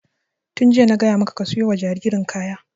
Tun jiya na gaya maka ka saya wa jaririn kaya!